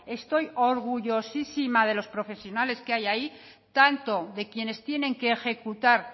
estoy orgullosísima de los profesionales que hay ahí tanto de quienes tienen que ejecutar